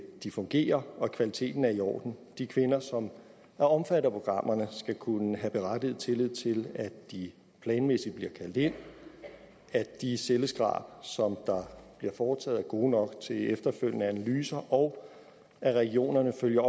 de fungerer og at kvaliteten er i orden de kvinder som er omfattet af programmerne skal kunne have berettiget tillid til at de planmæssigt bliver kaldt ind at de celleskrab som der bliver foretaget er gode nok til efterfølgende analyser og at regionerne følger